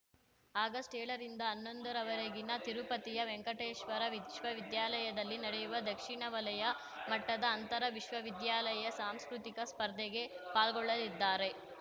ಅಗಸ್ಟ್ಏಳರಿಂದ ಹನ್ನೊಂದರವರೆಗಿನ ತಿರುಪತಿಯ ವೆಂಕಟೇಶ್ವರ ವಿಶ್ವವಿದ್ಯಾಲಯದಲ್ಲಿ ನಡೆಯುವ ದಕ್ಷಿಣ ವಲಯ ಮಟ್ಟದ ಅಂತರ ವಿಶ್ವವಿದ್ಯಾಲಯ ಸಾಂಸ್ಕೃತಿಕ ಸ್ಪರ್ಧೆಗೆ ಪಾಲ್ಗೊಳ್ಳಲಿದ್ದಾರೆ